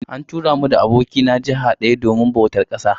Ni da abokina an tura mu jiha daya domin bautar ƙasa